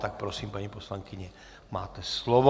Tak prosím, paní poslankyně, máte slovo.